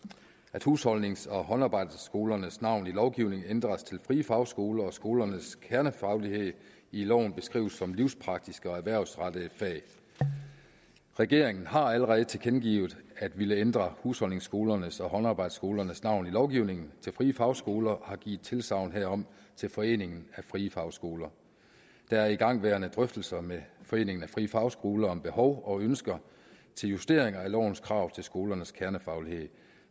at husholdnings og håndarbejdsskolernes navn i lovgivningen ændres til frie fagskoler og skolernes kernefaglighed i loven beskrives som livspraktiske og erhvervsrettede fag regeringen har allerede tilkendegivet at ville ændre husholdningsskolernes og håndarbejdsskolernes navn i lovgivningen til frie fagskoler og har givet tilsagn herom til foreningen af frie fagskoler der er igangværende drøftelser med foreningen af frie fagskoler om behov og ønsker til justeringer af lovens krav til skolernes kernefaglighed